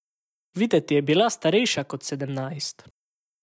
Videti je bila starejša kot sedemnajst.